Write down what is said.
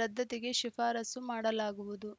ರದ್ದತಿಗೆ ಶಿಫಾರಸ್ಸು ಮಾಡಲಾಗುವುದು